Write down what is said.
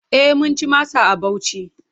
E, mun ci masa a Bauchi.